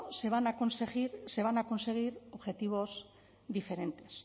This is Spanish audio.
se van a conseguir objetivos diferentes